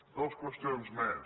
dues qüestions més